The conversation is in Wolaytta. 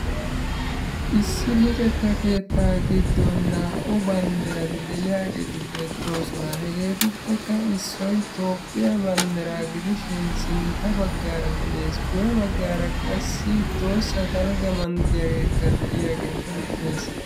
Issi luxetta keettaa giddon naa"u banddirati de"iyaageeti beettoosona. Hegeetuppekka issoy Toophphiyaa banddiraa gidishin sintta baggaara de'ees. Guye baggaara qassi tohossa dalgga manttiyaageekka de"iyaagee beettees.